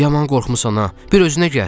Yaman qorxmusan ha, bir özünə gəl.